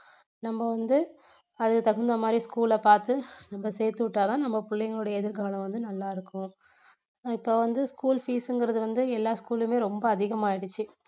நம்ம வந்து அது தகுந்த மாதிரி school ல பாத்து நம்ம சேர்த்து விட்டா தான் நம்ம பிள்ளைகளுடைய எதிர்காலம் வந்து நல்லா இருக்கும் இப்போ வந்து school fees ங்குறது வந்து எல்லா school லுமே ரொம்ப அதிகமாயிடுச்சு